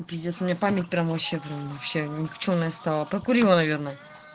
пиздец у меня память прям вообще прям вообще никчёмная стала прокурила наверное